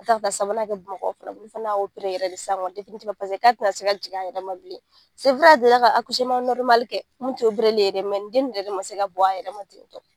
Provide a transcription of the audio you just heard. sabanan kɛ[?fana bolo u fana y'a yɛrɛ de k'a tina se ka jigin a yɛrɛ ma bilen a delila ka kɛ mun ti ye dɛ nin den nin yɛrɛ de ma se ka bɔ a yɛrɛ ma.